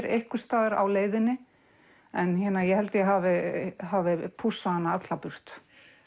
einhvers staðar á leiðinni en ég held ég hafi hafi pússað hana alla burt